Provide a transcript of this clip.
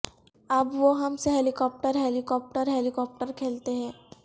اب وہ ہم سے ہیلی کاپٹر ہیلی کاپٹر ہیلی کاپٹرکھیلتے ہیں